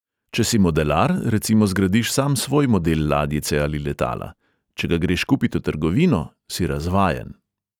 Če si modelar, recimo zgradiš sam svoj model ladjice ali letala; če ga greš kupit v trgovino, si razvajen.